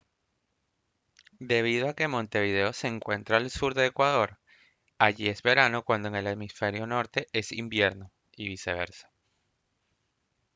debido a que montevideo se encuentra al sur de ecuador allí es verano cuando en el hemisferio norte es invierno y viceversa